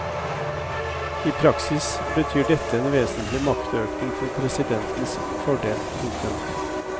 I praksis betyr dette en vesentlig maktøkning til presidentens fordel. punktum